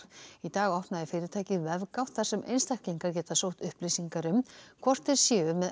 í dag opnaði fyrirtækið vefgátt þar sem einstaklingar geta sótt upplýsingar um hvort þeir séu með